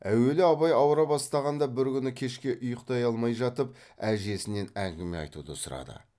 әуелі абай ауыра бастағанда бір күні кешке ұйықтай алмай жатып әжесінен әңгіме айтуды сұрады